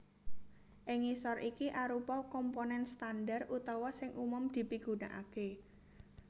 Ing ngisor iki arupa komponen standar utawa sing umum dipigunakaké